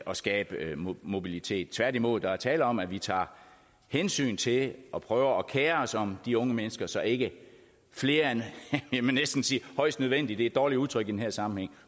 at skabe mobilitet tværtimod er der tale om at vi tager hensyn til og prøver at kere os om de unge mennesker så ikke flere end jeg vil næsten sige højst nødvendigt det er et dårligt udtryk i den her sammenhæng